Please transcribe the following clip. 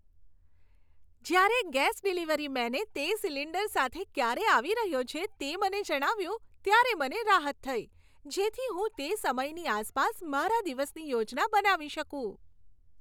જ્યારે gas delivery મેને તે સિલિન્ડર સાથે ક્યારે આવી રહ્યો છે તે મને જણાવ્યું ત્યારે મને રાહત થઈ, જેથી હું તે સમયની આસપાસ મારા દિવસની યોજના બનાવી શકું.